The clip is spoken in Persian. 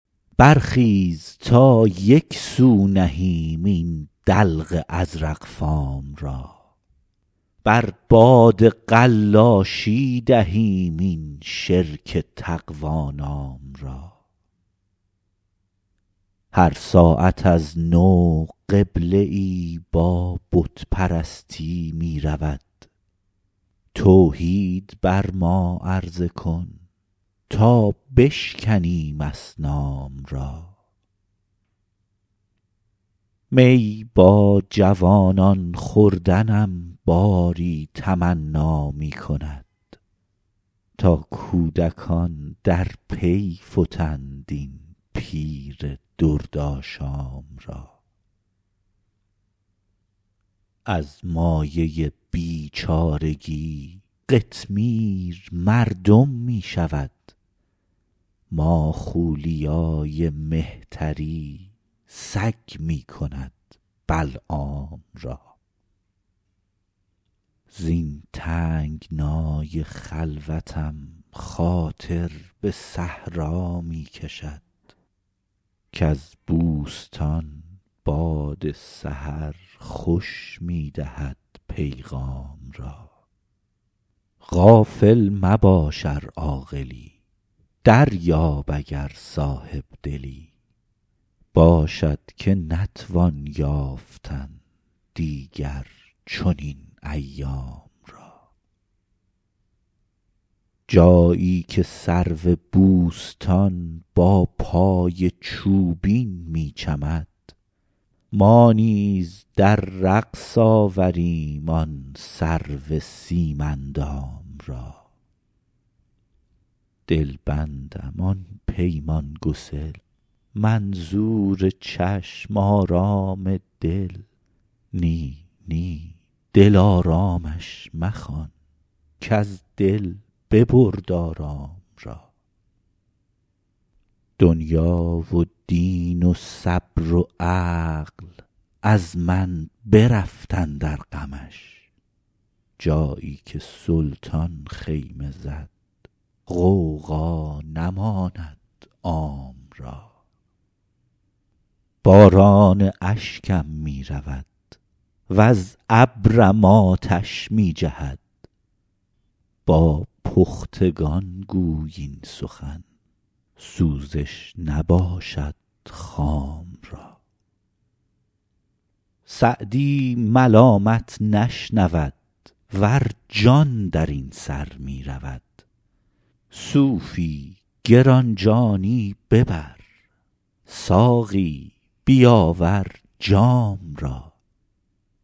برخیز تا یک سو نهیم این دلق ازرق فام را بر باد قلاشی دهیم این شرک تقوا نام را هر ساعت از نو قبله ای با بت پرستی می رود توحید بر ما عرضه کن تا بشکنیم اصنام را می با جوانان خوردنم باری تمنا می کند تا کودکان در پی فتند این پیر دردآشام را از مایه بیچارگی قطمیر مردم می شود ماخولیای مهتری سگ می کند بلعام را زین تنگنای خلوتم خاطر به صحرا می کشد کز بوستان باد سحر خوش می دهد پیغام را غافل مباش ار عاقلی دریاب اگر صاحب دلی باشد که نتوان یافتن دیگر چنین ایام را جایی که سرو بوستان با پای چوبین می چمد ما نیز در رقص آوریم آن سرو سیم اندام را دلبندم آن پیمان گسل منظور چشم آرام دل نی نی دلآرامش مخوان کز دل ببرد آرام را دنیا و دین و صبر و عقل از من برفت اندر غمش جایی که سلطان خیمه زد غوغا نماند عام را باران اشکم می رود وز ابرم آتش می جهد با پختگان گوی این سخن سوزش نباشد خام را سعدی ملامت نشنود ور جان در این سر می رود صوفی گران جانی ببر ساقی بیاور جام را